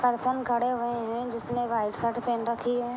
Person खड़े हुए हैजिसने व्हाइट शर्ट पहन रखी है।